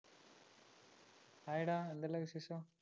hi ഡാ എന്തല്ലാം വിശേഷം